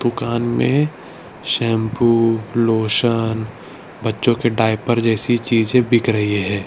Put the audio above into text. दुकान में shampoo lotion बच्चों के डायपर जैसी चीजें बिक रही है।